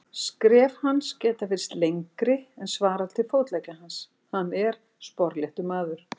Skref hans geta virst lengri en svarar til fótleggja hans, en hann er sporléttur maður.